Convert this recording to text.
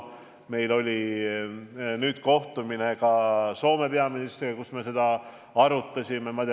Meil oli hiljuti kohtumine Soome peaministriga ja me arutasime ka seda.